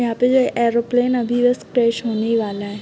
यहाँ पे जो है एरोप्लेन अभी बस होने ही वाला है।